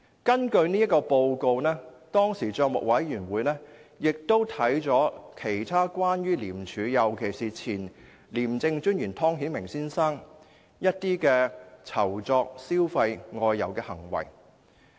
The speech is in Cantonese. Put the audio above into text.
根據這份報告，當時政府帳目委員會亦審視了其他關於廉署的事宜，尤其是前廉政專員湯顯明先生的酬酢、消費和外遊的行為。